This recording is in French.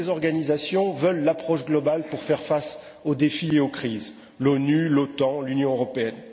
Toutes les organisations veulent adopter l'approche globale pour faire face aux défis et aux crises l'ONU, l'OTAN, l'Union européenne.